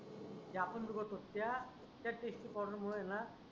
ज्या आपण सुबोत होत्या त्याच्याशी प्रॉब्लेम होयेना